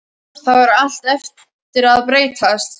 Það á allt eftir að breytast!